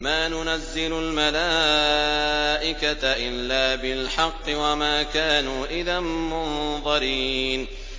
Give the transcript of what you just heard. مَا نُنَزِّلُ الْمَلَائِكَةَ إِلَّا بِالْحَقِّ وَمَا كَانُوا إِذًا مُّنظَرِينَ